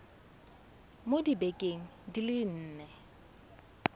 mo dibekeng di le nne